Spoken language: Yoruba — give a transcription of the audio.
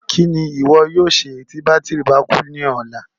Kí ni ìwọ yóò ṣe tí bátírì bá kú ní ọ̀la?